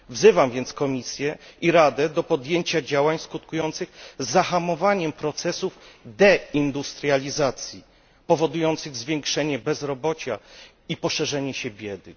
Wzywam więc Komisję i Radę do podjęcia działań skutkujących zahamowaniem procesów deindustrializacji powodujących zwiększenie bezrobocia i poszerzenie się biedy.